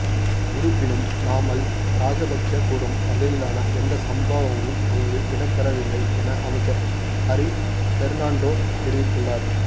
இருப்பினும் நாமல் ராஜபக்ச கூறும் வகையிலான எந்த சம்பவமும் அங்கு இடம்பெறவில்லை என அமைச்சர் ஹரின் பெர்னாண்டோ தெரிவித்துள்ளார்